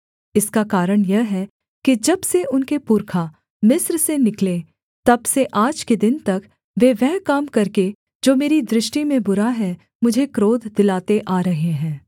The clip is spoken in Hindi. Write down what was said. इसका कारण यह है कि जब से उनके पुरखा मिस्र से निकले तब से आज के दिन तक वे वह काम करके जो मेरी दृष्टि में बुरा है मुझे क्रोध दिलाते आ रहे हैं